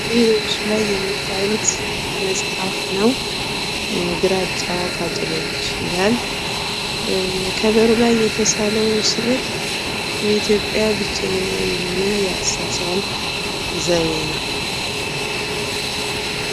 ይህ በምስሉ ላይ የምታዩት መጽሐፍ ነው። ግራጫ ቃጭሎች ይላል ።ከበሩ ላይ የተሳለው ስዕል የኢትዮጵያ ብቸኛ የሆነ የአሳሳል ዘዴ ነው